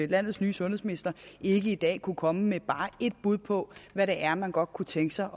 landets nye sundhedsminister ikke i dag kunne komme med bare ét bud på hvad det er man godt kunne tænke sig